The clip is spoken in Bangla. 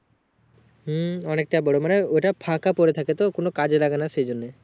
হুম অনেকটাই বড়ো মানে ওটা ফাঁকা পরে থাকে তো কোনো কাজে লাগে না সেই জন্য